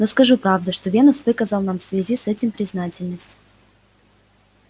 но скажу правда что венус выказал нам в связи с этим признательность